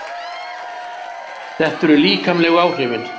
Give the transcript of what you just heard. Þetta eru líkamlegu áhrifin.